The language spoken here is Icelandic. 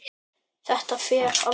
Þetta fer aldrei.